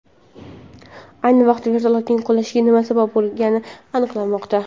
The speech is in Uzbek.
Ayni vaqtda vertolyotning qulashiga nima sabab bo‘lgani aniqlanmoqda.